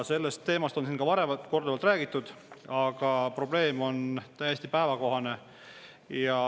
Sellest teemast on siin ka varem korduvalt räägitud, aga probleem on täiesti päevakohane.